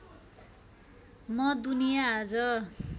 म दुनिया आज